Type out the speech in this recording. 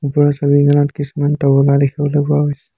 ওপৰৰ ছবিখনত কিছুমান তবলা দেখিবলৈ পোৱা গৈছে।